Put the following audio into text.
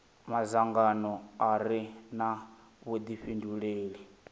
madzangano a re na vhudifhinduleli